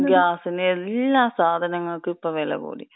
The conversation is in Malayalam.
ആ ഗ്യാസിന്. ഗ്യാസിന്, എല്ലാ സാധനങ്ങക്കും ഇപ്പം വെലകൂടി.